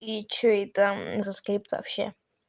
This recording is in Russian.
и что это за скрипка вообще